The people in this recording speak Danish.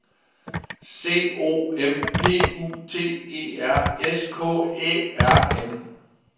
C O M P U T E R S K Æ R M